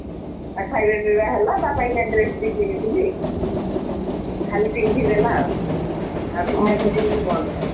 ଆଉ ଖାଇବା ପିଇବା ହେଲା ତା ପାଇଁକା dress ବି କିଣିଥିଲି ଖାଲି ପିନ୍ଧି ଦେଲା ଆଉ ଆଉ ପୂଜାପୁଜୀ କିନ୍ତୁ ବନ୍ଦ ହେଲା।